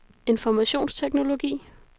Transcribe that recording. informationsteknologi